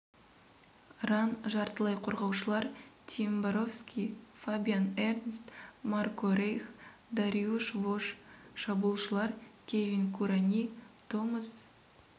ран жартылай қорғаушылар тим боровски фабиан эрнст марко рейх дариуш вош шабуылшылар кевин кураньи томас